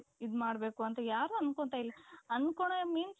ಇದು ಮಾಡ್ಬೇಕು ಅಂತ ಯಾರೂ ಅನ್ಕೊಂತಾ ಇಲ್ಲ ಅಂದ್ಕೊಳ್ಳೋದು means